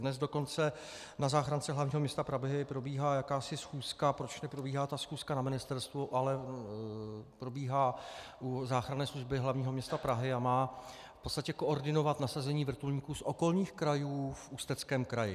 Dnes dokonce na záchrance hlavního města Prahy probíhá jakási schůzka, proč neprobíhá ta schůzka na ministerstvu, ale probíhá u záchranné služby hlavního města Prahy a má v podstatě koordinovat nasazení vrtulníků z okolních krajů v Ústeckém kraji.